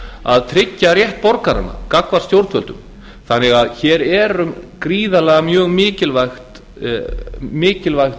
að tryggja rétt borgaranna gagnvart stjórnvöldum þannig að hér er um gríðarlega mjög mikilvægt